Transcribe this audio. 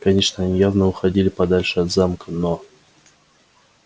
конечно они явно уходили подальше от замка но